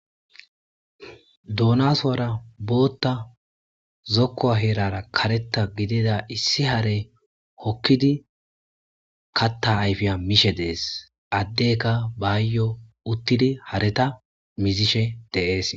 Donasuara botha zokua heraraka kareta gidiza issi hare hokidi kata ayifiya mishe des addeka bayo utidi hareta mizishe deas.